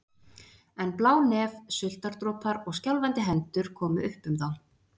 En blá nef, sultardropar og skjálfandi hendur komu upp um þá.